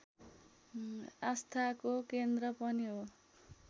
आस्थाको केन्द्र पनि हो